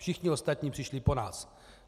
Všichni ostatní přišli po nás.